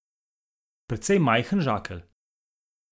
Precej majhen žakelj.